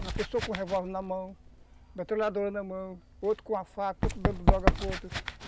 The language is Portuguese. Uma pessoa com revólver na mão, metralhadora na mão, outro com a faca, outro dando droga para outra.